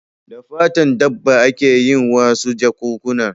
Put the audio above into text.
Da fatan dabba a ke yin wasu jakunkuna